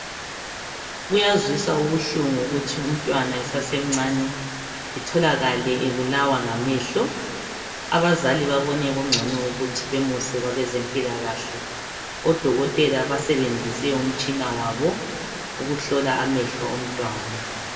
kuyazwisa ubuhlungu ukutshiya umntwana esesemncane etholakale ebulawa ngamehlo abazali bebone kungcono ukuthi bemuse kwabezempilakahle odokotela basebenzise umtshina wabo ukuhlola amehlo omntwana